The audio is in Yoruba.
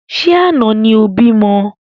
Ṣé àna ni o bímọ?